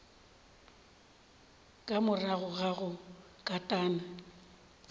ka morago ga go katana